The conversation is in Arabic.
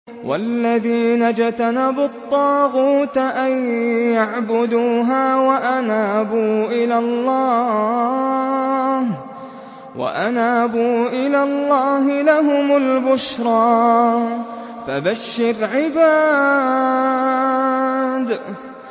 وَالَّذِينَ اجْتَنَبُوا الطَّاغُوتَ أَن يَعْبُدُوهَا وَأَنَابُوا إِلَى اللَّهِ لَهُمُ الْبُشْرَىٰ ۚ فَبَشِّرْ عِبَادِ